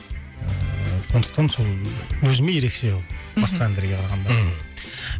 сондықтан сол өзіме ерекше ол мхм басқа әндерге қарағанда мхм